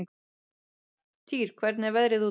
Týr, hvernig er veðrið úti?